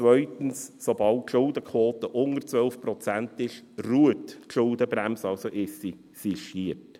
Zweitens: Sobald die Schuldenquote unter 12 Prozent liegt, ruht die Schuldenbremse, sie ist also sistiert.